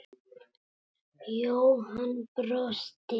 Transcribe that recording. Jóhann brosti.